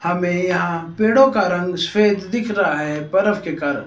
हमें यहां पेड़ों का रंग स्वेद दिख रहा है बरफ़ के कारण।